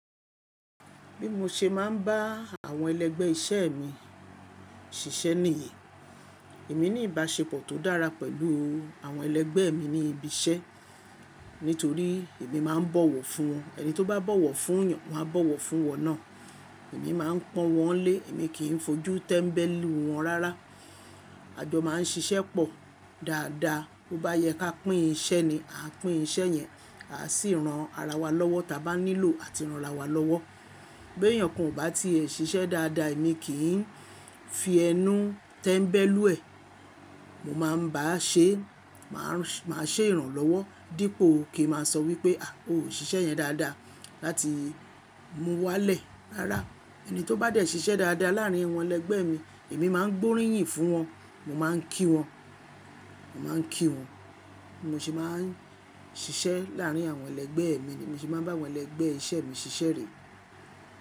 Bí mo ṣe máa ń bá àwọn ẹlẹ́gbẹ́ iṣẹ́ mi ṣiṣẹ́ nìyí, èmi ní ìbáṣepọ̀ tó dára pẹ̀lú àwọn ẹlẹ́gbẹ́ mi ní ibi iṣẹ́. Nítorí èmi máa ń bọ̀wọ̀ fún wọn, ẹni tó bá bọ̀wọ̀ fún yàn máa bọ̀wọ̀ fún wọ̀n náà. Èmi máa ń pọn wọ́n lé, èmi kì í fojú tẹ́mbẹ́lú wọn rara. A jọ máa ń ṣiṣẹ́ pọ̀ dáadáa. Bo bá yẹ ká pín iṣẹ́ ni, a pín iṣẹ́ yẹn a sì ran ara wa lọ́wọ́, ta bá nílò a ti ranra wa lọ́wọ́. Bí èèyàn kan ò bá ti è ṣiṣẹ́ dáadáa, èmi kì í fi ẹnú tẹ́mbẹ́lú ẹ̀. Mo máa ń bá a ṣe, màá ṣe ìrànlọ́wọ́ dípò kí n máa sọ wípé à o ò ṣiṣẹ́ yẹn dáadáa láti mú u wálẹ̀ láràá. Ẹni tó bá dẹ̀ ṣiṣẹ́ dáadáa láàárín àwọn ẹlẹ́gbẹ́ mi, èmi máa ń gbóríyìn fún wọn, mo máa ń kí wọn, màá ń kí wọn. Mo sì máa ń ṣiṣẹ́ láàárín àwọn ẹlẹ́gbẹ́ mi ni, mo sì máa ń bá àwọn ẹlẹ́gbẹ́ iṣẹ́ mi ṣiṣẹ́ rẹ̀.